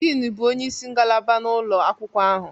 Diin bụ onye isi ngalaba na ụlọ akwụkwọ ahụ